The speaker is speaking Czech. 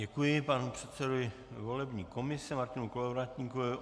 Děkuji panu předsedovi volební komise Martinu Kolovratníkovi.